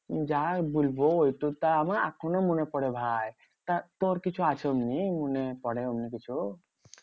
যা আর বলবো ওই টা আমার এখনো মনে পরে ভাই। তা তোর কিছু আছে অমনি? মনে পরে অমনি কিছু?